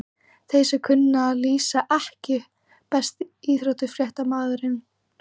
Þeir sem kunna að lýsa EKKI besti íþróttafréttamaðurinn?